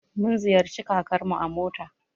Mun ziyarci kakarmu a mota.